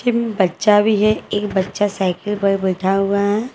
बच्चा भी है एक बच्चा साइकिल पर बैठा हुआ है।